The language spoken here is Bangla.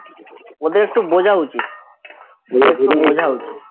ওদের একটু বোঝা উচিত